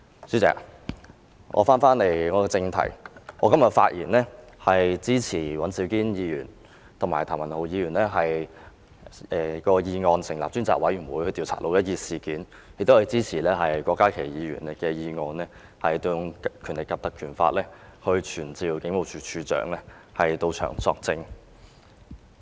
主席，就這議題，我今天發言支持尹兆堅議員和譚文豪議員的議案，成立專責委員會調查"六一二"事件；亦支持郭家麒議員的議案，根據《立法會條例》傳召警務處處長到本會作證。